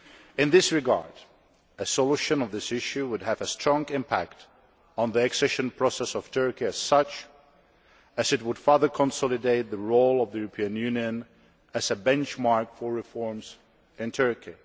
In this regard, a solution of this issue would have a strong impact on the accession process of Turkey as such, as it would further consolidate the role of the European Union as a benchmark for reforms in Turkey.